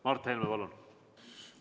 Mart Helme, palun!